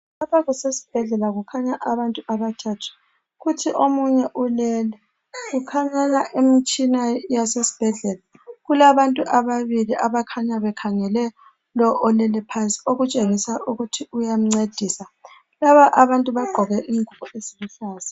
Lapha kusesibhedlela kukhanya abantu abathathu. Kuthi omunye ulele, kukhanya imtshina yasesibhedlela. Kulabantu ababili abakhanya bekhangele lo olele phansi okutshengisa ukuthi bayamncedisa. Laba abantu bagqoke ingubo eziluhlaza.